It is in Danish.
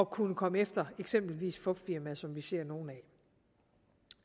kunne komme efter eksempelvis fupfirmaer som vi ser nogle